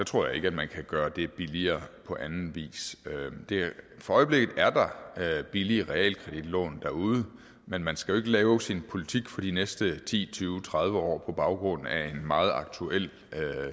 tror jeg ikke at man kan gøre det billigere på anden vis for øjeblikket er der billige realkreditlån derude men man skal jo ikke lave sin politik for de næste ti tyve tredive år på baggrund af en meget aktuel